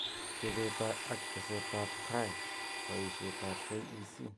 Chobet ak teset ab tai, boishet ab KEC